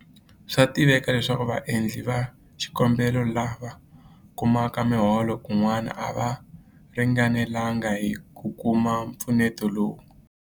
Swa tiveka leswaku vaendli va xikombelo lava kumaka miholo kun'wana a va ringanelanga hi ku kuma mpfuneto lowu.